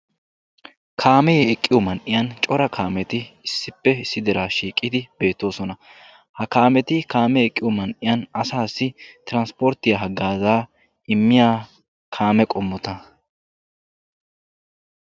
Kaame eqqiyo man'iyan cora kaametti issi bolla issippe eqqiddosonna. Ha kaametti asaassi tiranspporttiya hagaaza immiyagetta.